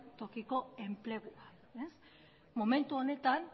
tokiko enplegua momentu honetan